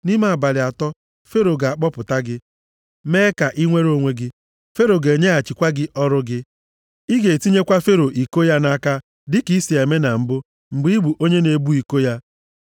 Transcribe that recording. Nʼime abalị atọ Fero ga-akpọpụta gị, mee ka i nwere onwe gị. Fero ga-enyeghachikwa gị ọrụ gị. Ị ga-etinyekwa Fero iko ya nʼaka dịka i si eme na mbụ mgbe ị bụ onye na-ebu iko ya.